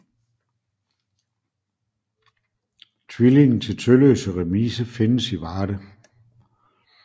Tvillingen til Tølløse remise findes i Varde